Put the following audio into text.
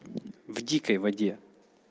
в дикой воде